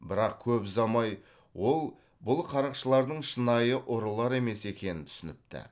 бірақ көп ұзамай ол бұл қарақшылардың шынайы ұрылар емес екенін түсініпті